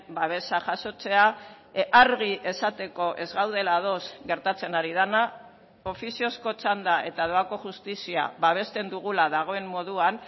babesa jasotzea argi esateko ez gaudela ados gertatzen ari dena ofiziozko txanda eta doako justizia babesten dugula dagoen moduan